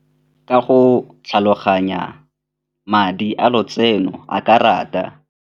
Ka go tlhaloganya madi a lotseno a karata.